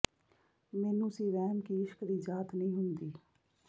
ਮੈਨੂੰ ਸੀ ਵਹਿਮ ਕਿ ਇਸ਼ਕ ਦੀ ਜਾਤ ਨਹੀ ਹੁੰਦੀ